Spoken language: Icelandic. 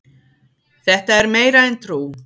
Þetta er meira en trú